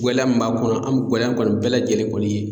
Gɛlɛya min b'a kɔnɔ an bɛ gɛlɛya kɔni bɛɛ lajɛlen kɔni